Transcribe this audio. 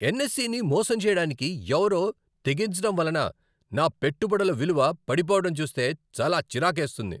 ఎన్ఎస్ఈని మోసం చేయడానికి ఎవరో తెగించడం వలన నా పెట్టుబడుల విలువ పడిపోవడం చూస్తే చాలా చిరాకేస్తుంది.